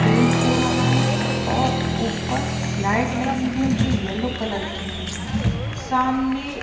paint हो रहा है और ऊपर लाइट लगी हैं जो येलो कलर की है सामने --